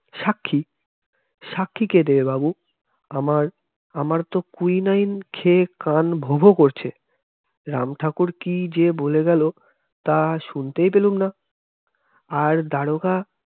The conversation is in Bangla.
সাক্ষী সাক্ষী কে দেবে বাবু, আমার আমার তো quinine খেয়ে কান ভোঁ ভোঁ করছে, রামঠাকুর কি যে বলে গেল তা শুনতে পেলাম না আর দারোগা